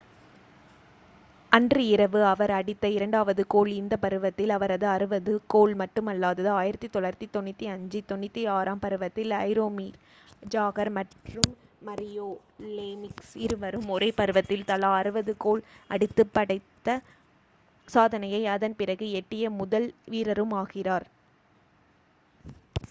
அன்று இரவு அவர் அடித்த இரண்டாவது கோல் இந்த பருவத்தில் அவரது 60 வது கோல் மட்டுமல்லாது 1995-96 ம் பருவத்தில் ஜரோமிர் ஜாக்ர் மற்றும் மரியோ லேமிக்ஸ் இருவரும் ஒரே பருவத்தில் தலா 60 கோல் அடித்துப் படைத்த சாதனையை அதன் பிறகு எட்டிய முதல் வீரரும் ஆகிறார்